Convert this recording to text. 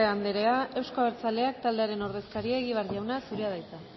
andrea euzko abertzaleak taldearen ordezkaria egibar jauna zurea da hitza